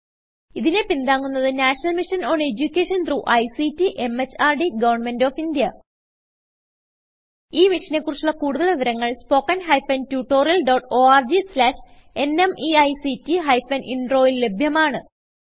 ഇതിനെ പിന്താങ്ങുന്നത് national mission on education through ICT MHRD government of India ഈ മിഷനെ കുറിച്ചുള്ള കുടുതൽ വിവരങ്ങൾ spoken hyphen tutorial dot org slash NMEICT hyphen Introൽ ലഭ്യമാണ്